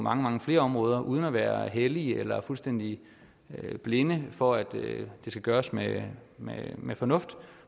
mange mange flere områder uden at være hellige eller fuldstændig blinde for at det skal gøres med med fornuft